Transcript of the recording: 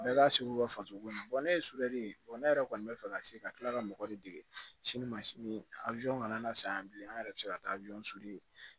Bɛɛ ka segu ka fatogo ko ne ye sigɛrɛ ye ne yɛrɛ kɔni bɛ fɛ ka se ka tila ka mɔgɔ de dege sini ma sini kana san yan bi an yɛrɛ bɛ se ka taa